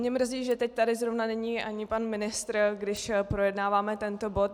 Mě mrzí, že teď tady zrovna není ani pan ministr, když projednáváme tento bod.